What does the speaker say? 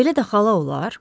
Belə də xala olar?